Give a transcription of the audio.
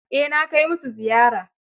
Eh na kai musu ziyara.